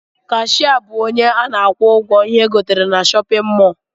Kashia bụ ọnye ana akwụ ụgwọ ihé egotere n'shóppin mol.